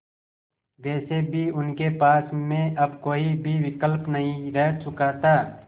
वैसे भी उनके पास में अब कोई भी विकल्प नहीं रह चुका था